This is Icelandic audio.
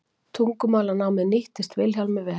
tungumálanámið nýttist vilhjálmi vel